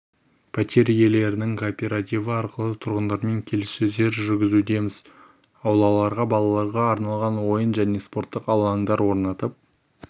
пәтер иелерінің кооперативі арқылы тұрғындармен келіссөздер жүргізудеміз аулаларға балаларға арналған ойын және спорттық алаңдар орнатып